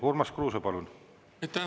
Urmas Kruuse, palun!